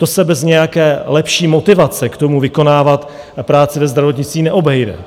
To se bez nějaké lepší motivace k tomu vykonávat práci ve zdravotnictví neobejde.